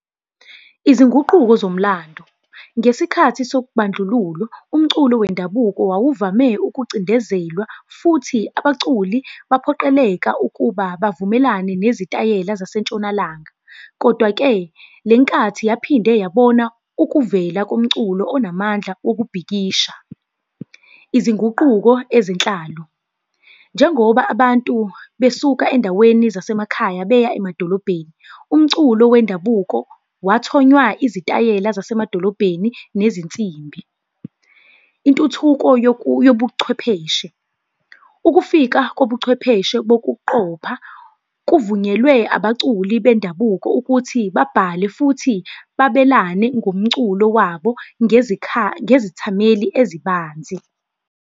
Izinguquko zomlando. Ngesikhathi sokubandlululo, umculo wendabuko wawuvame ukucindezelwa futhi abaculi baphoqeleka ukuba bavumelane nezitayela zasentshonalanga. Kodwa-ke, le nkathi yaphinde yabona ukuvela komculo onamandla wokubhikisha. Izinguquko ezinhlalo, njengoba abantu besuka endaweni zasemakhaya beya emadolobheni, umculo wendabuko wathonywa izitayela zasemadolobheni nezinsimbi. Intuthuko yobuchwepheshe, ukufika kobuchwepheshe bokuqopha, kuvunyelwe abaculi bendabuko ukuthi babhale futhi babelane ngomculo wabo ngezithameli ezibanzi.